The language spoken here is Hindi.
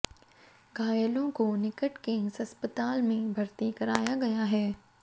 घायलों को निकट के एक अस्पताल में भर्ती कराया गया है